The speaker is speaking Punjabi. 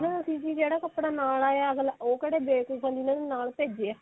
ਕਹਿੰਦਾ ਤੁਸੀਂ ਜੀ ਜਿਹੜਾ ਕੱਪੜਾ ਨਾਲ ਆਇਆ ਉਹ ਕਿਹੜਾ ਦੇ ਕੇ ਬੰਦੇ ਨੂੰ ਨਾਲ ਭੇਜਿਆ